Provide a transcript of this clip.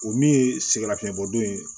O min ye sɛgɛnnafiɲɛbɔ don ye